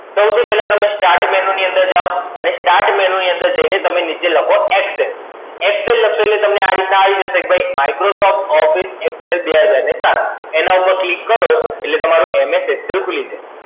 સૌથી પહેલા તમે Start Menu ની અંદર જાઓ અને Start Menu ની અંદર જઈને તમે નીચે લખો ExcelExcel લખશો એટલે તમને આ રીતના આવી જશે કે ભાઈ Microsoft Office Excel બે હજાર સાત. એના ઉપર click કરો એટલે તમારું MS Excel ખૂલી જાય.